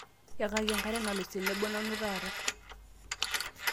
yakaki enkare nalus tenebo nanu taata